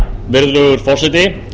virðulegur forseti